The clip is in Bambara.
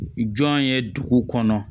Jɔn ye dugu kɔnɔ